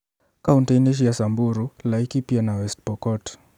Kauntĩ-inĩ cia Samburu, Laikipia na West Pokot